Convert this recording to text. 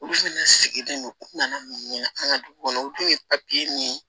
Olu fɛnɛ sigilen don u kun na an ka du kɔnɔ u tun ye papiye min ye